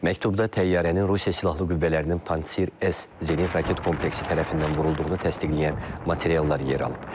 Məktubda təyyarənin Rusiya Silahlı Qüvvələrinin Panir S zenit raket kompleksi tərəfindən vurulduğunu təsdiqləyən materiallar yer alıb.